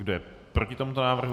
Kdo je proti tomuto návrhu?